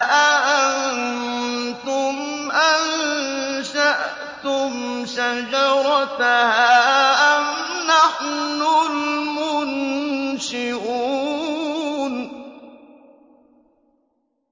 أَأَنتُمْ أَنشَأْتُمْ شَجَرَتَهَا أَمْ نَحْنُ الْمُنشِئُونَ